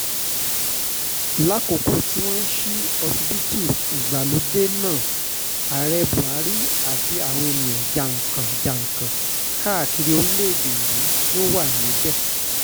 lákòókò tí wọ́n ń ṣí ọsibítù ìgbàlódé náà ààrẹ buhari àtàwọn èèyàn jàǹkàn-jàǹkàn káàkiri orílẹ̀‐èdè yìí ló wà níbẹ̀